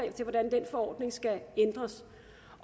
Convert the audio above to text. til hvordan den forordning skal ændres